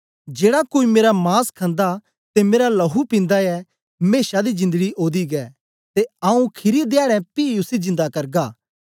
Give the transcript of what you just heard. जेड़ा कोई मेरा मांस खन्दा ते मेरा लहू पिन्दा ऐ मेशा दी जिंदड़ी ओदी गै ते आऊँ खीरी ध्याडें पी उसी जिंदा करगा